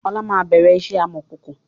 Ọlá máa bẹ̀rẹ̀ iṣẹ́ amọ̀kòkò